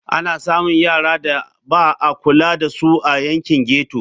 Ana samun yaran da ba a kula da su a yankin ghetto.